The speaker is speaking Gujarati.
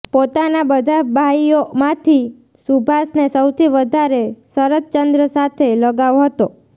પોતાના બધા ભાઈઓમાંથી સુભાષને સૌથી વધારે શરદચંદ્ર સાથે લગાવ હતો